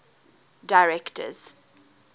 directors